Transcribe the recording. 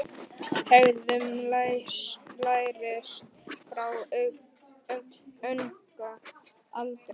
Hegðun lærist frá unga aldri.